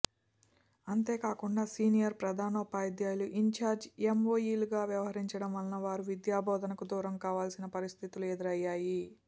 అంతే కాకుండా సీనియర్ ప్రధానోపాధ్యాయులు ఇంఛార్జీ ఎంఇఓలుగా వ్యవహరించడం వల్ల వారు విద్యాబోధనకు దూరం కావాల్సిన పరిస్థితులు ఎదురయ్యాయి